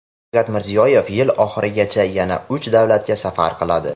Shavkat Mirziyoyev yil oxirigacha yana uch davlatga safar qiladi.